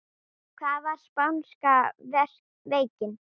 Hvað var spánska veikin?